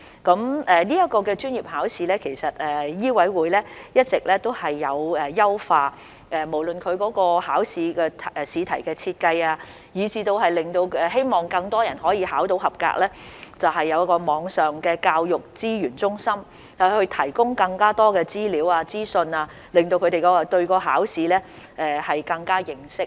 在執業資格試方面，醫委會已一直進行優化，包括試題的設計，以期令更多考生獲取及格成績，以及引進網上教育資源中心，以提供更多資料、資訊，加深考生對考試的認識。